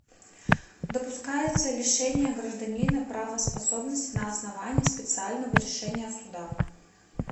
допускается лишение гражданина правоспособности на основании специального решения суда